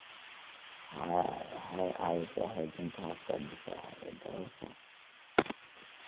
Waxay caawisaa xoojinta habka difaaca ee dhallaanka.